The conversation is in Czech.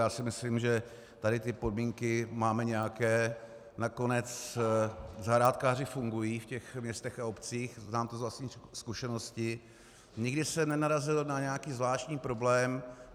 Já si myslím, že tady ty podmínky máme nějaké, nakonec zahrádkáři fungují v těch městech a obcích, znám to z vlastní zkušenosti, nikdy jsem nenarazil na nějaký zvláštní problém.